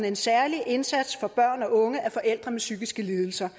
en særlig indsats for børn og unge af forældre med psykiske lidelser